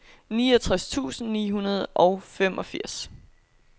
niogtres tusind ni hundrede og femogfirs